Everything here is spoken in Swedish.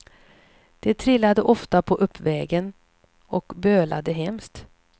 De trillade ofta på uppvägen och bölade hemskt.